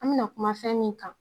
An bi na kuma fɛn min kan